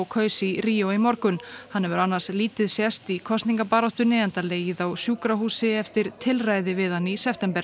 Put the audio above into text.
kaus í Rio í morgun hann hefur annars lítið sést í kosningabaráttunni enda legið á sjúkrahúsi eftir tilræði við hann í september